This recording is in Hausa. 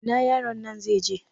Ina yaron nan zai je?